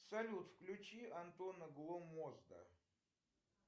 салют включи антона гломозда